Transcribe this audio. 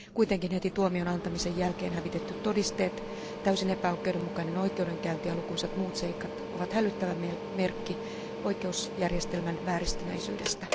Kuitenkin heti tuomion antamisen jälkeen hävitetyt todisteet, täysin epäoikeudenmukainen oikeudenkäynti ja lukuisat muut seikat ovat hälyttävä merkki oikeusjärjestelmän vääristyneisyydestä.